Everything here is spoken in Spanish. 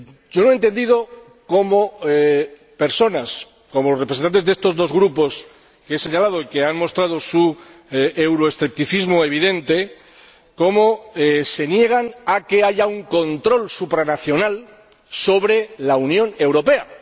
Yo no entiendo cómo personas, como los representantes de estos dos Grupos que he señalado y que han mostrado su euroescepticismo evidente, se niegan a que haya un control supranacional sobre la Unión Europea.